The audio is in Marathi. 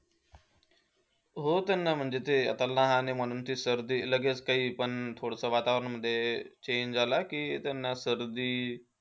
हो. त्यांना म्हणजे ते आता लहान आहे म्हणून ते सर्दी, लगेच काही पण थोडंसं वातावरणामध्ये change झाला की त्यांना सर्दी,